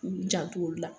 U jant'olu la